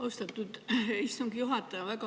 Austatud istungi juhataja!